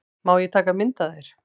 Má ég taka mynd af þér?